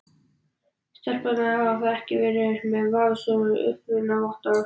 Stelpurnar þar hafa ekki verið með vafasöm upprunavottorð.